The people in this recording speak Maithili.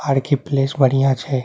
आर. के. प्लेस बढ़िया छै।